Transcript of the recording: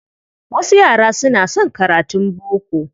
Wasu yara suna son karatun boko.